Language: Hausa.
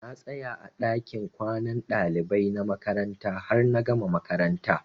Na tsaya a ɗakin kwanan ɗalibai na makaranta har na gama makaranta.